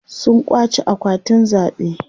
sun kwace akwatin zaɓe